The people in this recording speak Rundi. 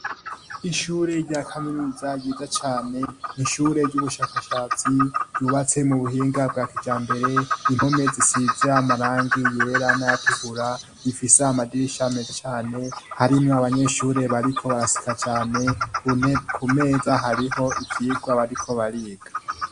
Ishure rya kaminuza ryiza cane n' ishure ry'ubushakashatsi ryubatse mu buhinga bwa kijambere impome zisize amarangi yera nayatukura bifise amadirisha meze cane harimwo abanyeshure bariko baraseka cane ku meza hariho ivyigwa bariko bariga.